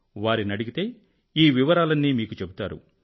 వారిని అడిగితే ఈ వివరాలన్నీ మీకు చెబుతారు